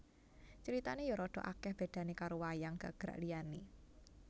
Critane ya radha akeh bedane karo wayang gagrak liane